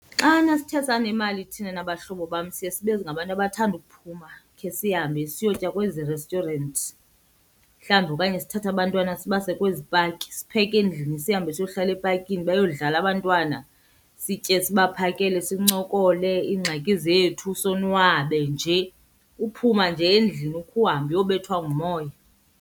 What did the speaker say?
Xana sithe sanemali thina nabahlobo bam siye sibe ngabantu abathanda ukuphuma khe sihambe siyotya kwezi restyurenti. Mhlawumbi okanye sithathe abantwana sibase kwezi paki, sipheke endlini sihambe siyohlala epakini bayodlala abantwana, sitye sibaphakele, sincokole iingxaki zethu sonwabe nje. Kuphuma nje endlini ukhe uhambe uyobethwa ngumoya.